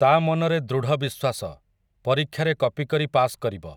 ତା'ମନରେ ଦୃଢ଼ ବିଶ୍ୱାସ, ପରୀକ୍ଷାରେ କପି କରି ପାସ୍ କରିବ ।